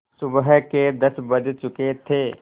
सुबह के दस बज चुके थे